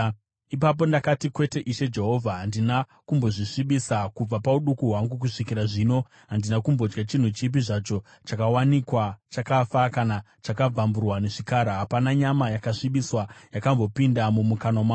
Ipapo ndakati, “Kwete, Ishe Jehovha! Handina kumbozvisvibisa. Kubva pauduku hwangu kusvikira zvino handina kumbodya chinhu chipi zvacho chakawanikwa chakafa kana chakabvamburwa nezvikara. Hapana nyama yakasvibiswa yakambopinda mumukanwa mangu.”